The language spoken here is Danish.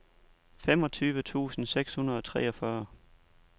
femogtyve tusind seks hundrede og treogfyrre